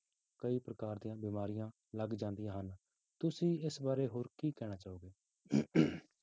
ਕਈ ਪ੍ਰਕਾਰ ਦੀਆਂ ਬਿਮਾਰੀਆਂ ਲੱਗ ਜਾਂਦੀਆਂ ਹਨ, ਤੁਸੀਂ ਇਸ ਬਾਰੇ ਹੋਰ ਕੀ ਕਹਿਣਾ ਚਾਹੋਗੇ